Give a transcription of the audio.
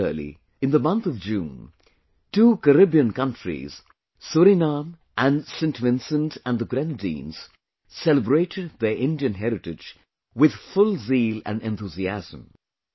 Similarly, in the month of June, two Caribbean countries Suriname and Saint Vincent and the Grenadines celebrated their Indian heritage with full zeal and enthusiasm